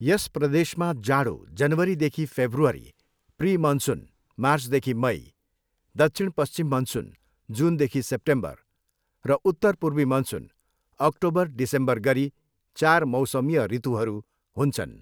यस प्रदेशमा जाडो, जनवरीदेखि फेब्रुअरी, प्रिमनसुन, मार्चदेखि मई, दक्षिण पश्चिम मनसुन, जुनदेखि सेप्टेम्बर र उत्तरपूर्वी मनसुन अक्टोबर डिसेम्बर गरी चार मौसमीय ऋतुहरू हुन्छन्।